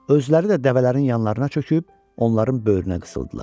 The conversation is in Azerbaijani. Özləri də dəvələrin yanlarına çöküb onların böyrünə qısıldılar.